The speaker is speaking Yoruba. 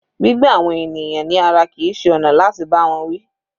Gbígbá àwọn ènìyàn ní ara kìí ṣe ọ̀nà láti bá wọn wí.